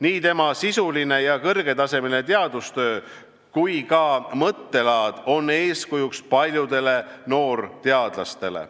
Nii tema sisuline ja kõrgetasemeline teadustöö kui ka mõttelaad on eeskujuks paljudele noorteadlastele.